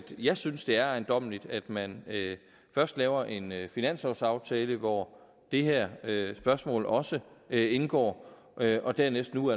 jeg synes det er ejendommeligt at man først laver en finanslovsaftale hvor det her spørgsmål også indgår og dernæst nu